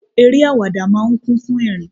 Eré àwàdà máa ń kún fún ẹrin.